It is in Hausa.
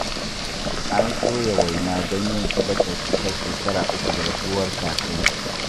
An soya waina don yin sadakar cikar shekara uku da rasuwar Kakansu